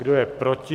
Kdo je proti?